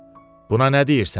Buna nə deyirsən?